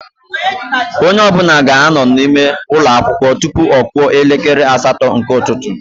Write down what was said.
Onye ọbụla ga-anọ n'ime ụlọ akwụkwọ tụpụ ọ kụọ elekere asatọ nke ụtụtụ